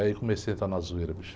Aí comecei a entrar na zoeira, bicho.